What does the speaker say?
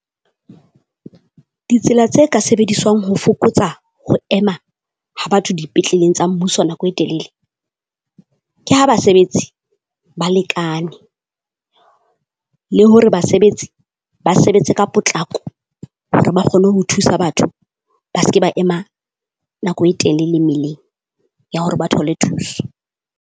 Ditsela tse ka sebediswang ho fokotsa ho ema ha batho dipetleleng tsa mmuso nako e telele, ke ha basebetsi ba lekane, le hore basebetsi ba sebetse ka potlako hore ba kgone ho thusa batho. Ba se ke ba ema nako e telele mele ya hore ba thole thuso.